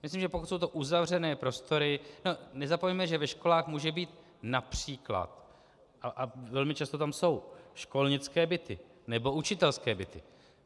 Myslím, že pokud jsou to uzavřené prostory - nezapomeňme, že ve školách mohou být například, a velmi často tam jsou, školnické byty nebo učitelské byty.